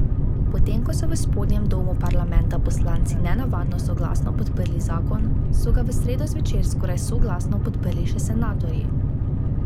Potem ko so v spodnjem domu parlamenta poslanci nenavadno soglasno podprli zakon, so ga v sredo zvečer skoraj soglasno podprli še senatorji.